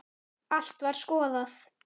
Allt var skoðað.